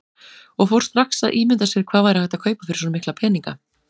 Og fór strax að ímynda sér hvað hægt væri að kaupa fyrir svo mikla peninga.